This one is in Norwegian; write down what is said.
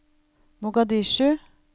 Mogadishu